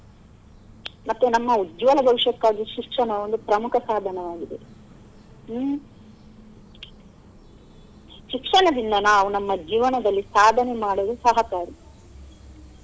ಮತ್ತೆ ನಮ್ಮ ಉಜ್ವಲ ಭವಿಷ್ಯಕ್ಕಾಗಿ ಶಿಕ್ಷಣ ಒಂದು ಪ್ರಮುಖ ಸಾಧನವಾಗಿದೆ ಹ್ಮ್‌ ಶಿಕ್ಷಣದಿಂದ ನಾವು ನಮ್ಮ ಜೀವನದಲ್ಲಿ ಸಾಧನೆ ಮಾಡಲು ಸಹಕಾರಿ.